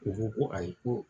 U ko ko ayi ko